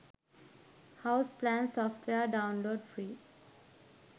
house plan software download free